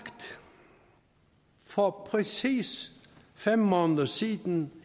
for præcis fem måneder siden